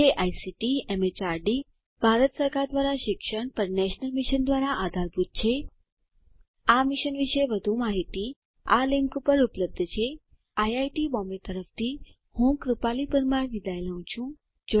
જે ICT MHRD Bharat સરકાર દ્વારા શિક્ષણ પર નેશનલ મિશન દ્વારા આધારભૂત છે આ મિશન વિશે વધુ માહીતી આ લીંક ઉપર ઉપલબ્ધ છે આઈઆઈટી બોમ્બે તરફથી ભાષાંતર કરનાર હું કૃપાલી પરમાર વિદાય લઉં છું